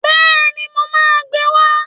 Bẹ́ẹ̀ni, mo máa gbe wá